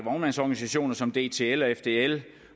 vognmandsorganisationer som dtl og fdl